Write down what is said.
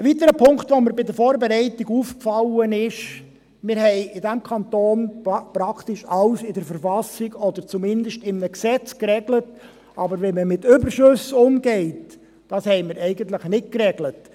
Ein weiterer Punkt, der mir bei der Vorbereitung aufgefallen ist: Wir haben in diesem Kanton praktisch alles in der Verfassung des Kantons Bern (KV) oder zumindest in einem Gesetz geregelt, aber wie man mit Überschüssen umgeht, das haben wir eigentlich nicht geregelt.